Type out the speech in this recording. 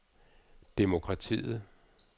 demokratiet